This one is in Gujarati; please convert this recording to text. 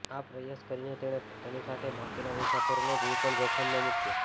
આ પ્રયાસ કરીને તેણે પોતાની સાથે બાકીના મુસાફરોનો જીવ પણ જોખમમાં મૂક્યો